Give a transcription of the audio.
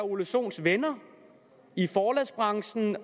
ole sohns venner i forlagsbranchen